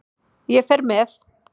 Ég fer með